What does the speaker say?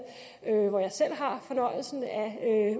hvor jeg selv har fornøjelsen af